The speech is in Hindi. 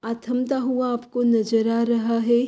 अ थमता हुआ आपको नजर आ रहा है।